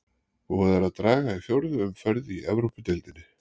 Búið er að draga í fjórðu umferð í Evrópudeildinni.